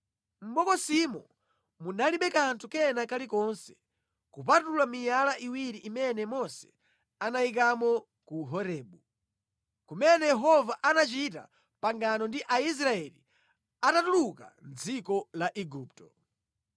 Mʼbokosimo munalibe kanthu kena kalikonse kupatula miyala iwiri imene Mose anayikamo ku Horebu, kumene Yehova anachita pangano ndi Aisraeli atatuluka mʼdziko la Igupto.